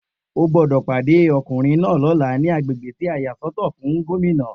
O gbódò pàdé ọkùnrin náà lóla ní agbègbè tí a yà sọ́tọ̀ fún Gómìnà